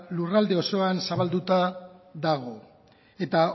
lurralde osoan zabalduta dago eta